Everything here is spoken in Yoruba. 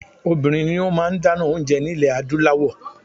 Obìnrin ni ó máa ń dáná oúnje ní ilẹ̀ Adúláwọ̀.